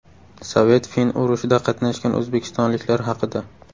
Sovet–fin urushida qatnashgan o‘zbekistonliklar haqida.